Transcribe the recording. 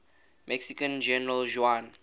mexican general juan